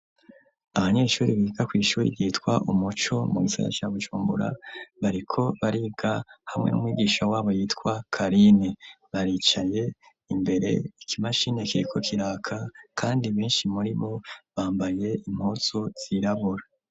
Abanyeshuri biga kw'ishuri yitwa umuco mu gisagara ca Bujumbura bariko bariga hamwe n'umwigisha w'abo yitwa Karine baricaye imbere iki mashini kiriko kiraka kandi benshi muribo bambaye impuzu zirabura.